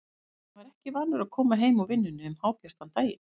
Hann var ekki vanur að koma heim úr vinnunni um hábjartan daginn.